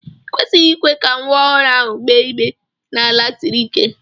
I kwesịghị ikwe ka nwa ọhụrụ ahụ gbéé igbé n'ala siri ike!